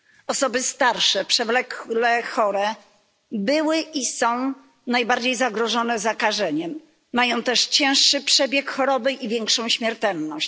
Osoby starsze przewlekle chore były i są najbardziej zagrożone zakażeniem, mają też cięższy przebieg choroby i większą śmiertelność.